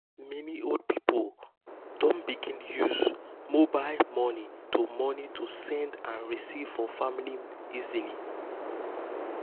many old people don begin use mobile money to money to send and receive from family easily.